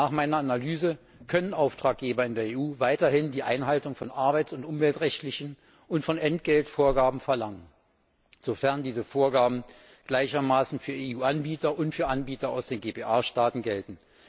Nach meiner Analyse können Auftraggeber in der EU weiterhin die Einhaltung von arbeits und umweltrechtlichen und von Entgeltvorgaben verlangen, sofern diese Vorgaben gleichermaßen für EU Anbieter und für Anbieter aus den GPA Staaten gelten.